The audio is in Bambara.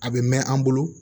A bɛ mɛn an bolo